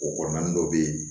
O kɔrɔ naani dɔ bɛ yen